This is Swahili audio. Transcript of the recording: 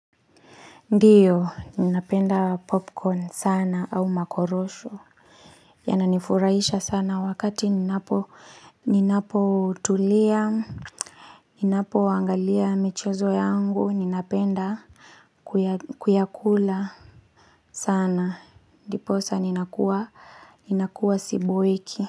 Ndiyo ninapenda popcorn sana au makorosho Yananifurahisha sana wakati ninapotulia Ninapoangalia michezo yangu ninapenda Kuyakula sana ndiposa ninakuwa Ninakuwa siboeki.